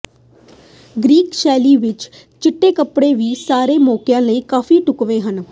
Greek ਸ਼ੈਲੀ ਵਿਚ ਚਿੱਟੇ ਕੱਪੜੇ ਵੀ ਸਾਰੇ ਮੌਕਿਆਂ ਲਈ ਕਾਫੀ ਢੁਕਵੇਂ ਹਨ